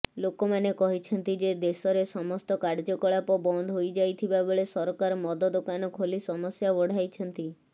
ଲୋକମାନେ କହିଛନ୍ତି ଯେ ଦେଶରେ ସମସ୍ତ କାର୍ଯ୍ୟକଳାପ ବନ୍ଦ ହୋଇଯାଇଥିବାବେଳେ ସରକାର ମଦ ଦୋକାନ ଖୋଲି ସମସ୍ୟା ବଢ଼ାଇଛନ୍ତି